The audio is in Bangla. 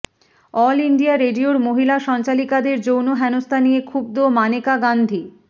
অল ইন্ডিয়া রেডিওর মহিলা সঞ্চালিকাদের যৌন হেনস্থা নিয়ে ক্ষুব্ধ মানেকা গান্ধী